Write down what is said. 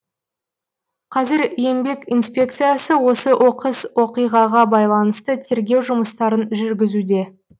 қазір еңбек инспекциясы осы оқыс оқиғаға байланысты тергеу жұмыстарын жүргізуде